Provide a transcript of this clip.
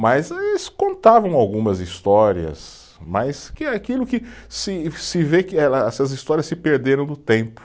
Mas eles contavam algumas histórias, mas que aquilo que se se vê que ela, essas histórias se perderam no tempo.